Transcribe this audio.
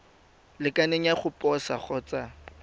lekaneng ya go posa kgotsa